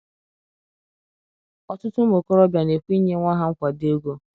Ọtụtụ ụmụ okorobịa na-ekwe inye nwa ha nkwado ego.